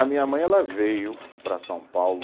A minha mãe ela veio para São Paulo.